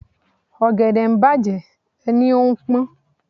Ọ̀gẹ̀dẹ̀ ń bàjẹ́ ẹ ní ó ń pón.